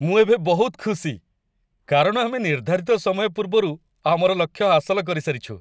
ମୁଁ ଏବେ ବହୁତ ଖୁସି, କାରଣ ଆମେ ନିର୍ଦ୍ଧାରିତ ସମୟ ପୂର୍ବରୁ ଆମର ଲକ୍ଷ୍ୟ ହାସଲ କରିସାରିଛୁ!